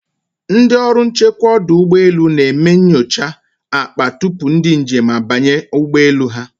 Ndị ọrụ nchekwa ọdụ ụgbọ elu na-eme nyocha akpa tupu ndị njem abanye ụgbọ elu ha.